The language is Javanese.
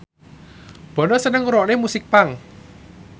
Bono seneng ngrungokne musik punk